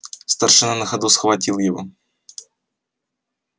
старшина на ходу схватил его